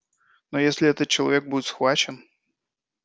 но если этот человек будет схвачен